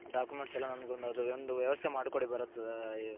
documents ಎಲ್ಲಾ ಅದೊಂದು ವ್ಯವಸ್ತೆ ಮಾಡಿ ಕೊಡಿ